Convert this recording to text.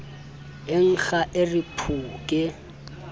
nkga a re phu ke